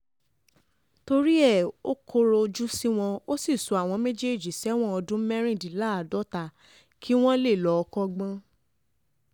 um torí ẹ̀ ò kọ̀rọ̀ ojú sí wọn ò sì sọ àwọn méjèèjì sẹ́wọ̀n ọdún mẹ́rìndínláàádọ́ta kí wọ́n um lè lọ́ọ́ kọ́gbọ́n